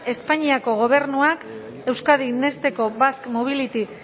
espainiako gobernuak euskadi next eko basque mobility